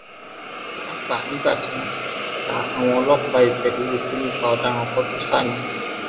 pàápàá nígbà tí wọn ti ti ta àwọn ọlọpàá ibẹ lólobó nípa ọdaràn kan tó sá ni